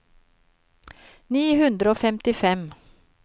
ni hundre og femtifem